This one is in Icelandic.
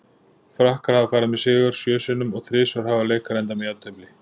Frakkar hafa farið með sigur sjö sinnum og þrisvar hafa leikar endað með jafntefli.